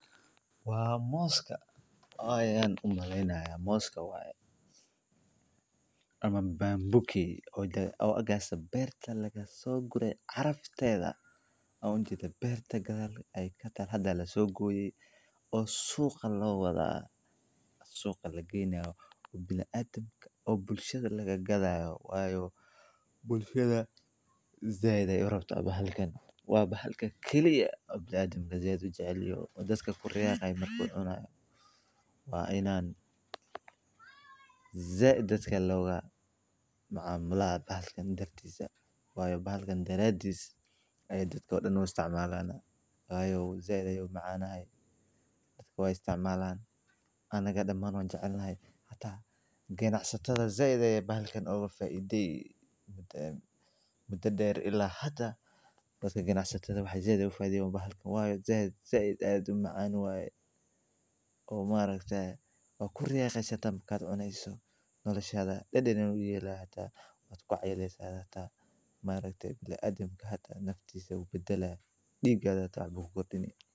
Waa mid ka mid ah dalalka ugu wax soo saarka badan ee mooska, taas oo keentay in ay noqoto meel muhiim ah ee dhoofinta iyo kaydinta midhahaas, gaar ahaan marka loo eego xilli qaboobaha iyo xeebaha kala duwan ee qaaradda Afrika, taas oo sabab u ah in moosku uu yeesho macaan iyo qaab qurux badan oo ka duwan kuwa dalalka kale, sidaas awgeed waxaa jira warshado iyo mashruuco badan oo lagu maareeyo beeraha mooska iyo samaynta waxyaabaha laga sameeyo mooska sida mooska qalajiyey, mooska cusboonaysiiyey, iyo mooska la shiiday oo loo isticmaalo in lagu sameeyo baasta, keegmo, iyo cuntooyin kale oo badan.